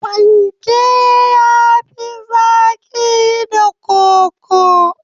Fanke ya fi zaki da koko.